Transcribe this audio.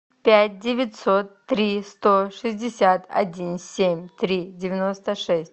пять девятьсот три сто шестьдесят один семь три девяносто шесть